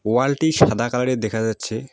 ওয়ালটি সাদা কালারের দেখা যাচ্ছে।